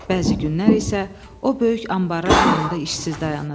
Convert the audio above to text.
Bəzi günlər isə o böyük anbarlar yanında işsiz dayanır.